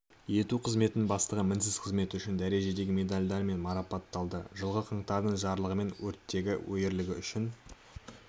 ету қызметінің бастығы мінсіз қызметі үшін дәрежедегі медальдарымен марапатталды жылғы қаңтарда жарлығымен өрттегі ерлігі үшін